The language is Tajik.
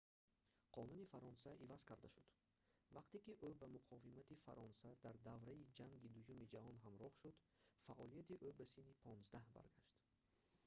қонуни фаронса иваз карда шуд вақте ки ӯ ба муқовимати фаронса дар давраи ҷанги дуюми ҷаҳон ҳамроҳ шуд фаъолияти ӯ ба синни 15 баргашт